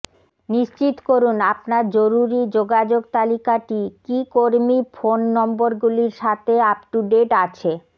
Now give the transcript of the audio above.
নিশ্চিত করুন আপনার জরুরী যোগাযোগ তালিকাটি কী কর্মী ফোন নম্বরগুলির সাথে আপ টু ডেট আছে